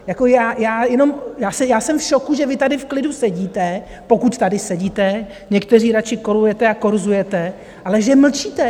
Já jsem v šoku, že vy tady v klidu sedíte, pokud tady sedíte, někteří radši kolujete a korzujete, ale že mlčíte!